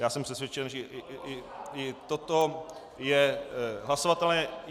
Já jsem přesvědčen, že i toto je hlasovatelné.